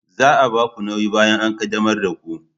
Za a ba ku nauyi bayan an qaddamar da ku